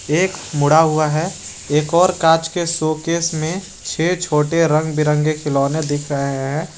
एक मुड़ा हुआ है एक और कांच के शोकेस में छे छोटे रंग बिरंगे खिलौने दिख रहे हैं।